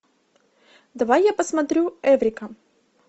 давай я посмотрю эврика